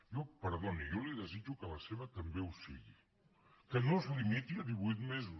jo perdoni jo li desitjo que la seva també ho sigui que no es limiti a divuit mesos